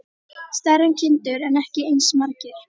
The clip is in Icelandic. Stærri en kindur en ekki eins margir.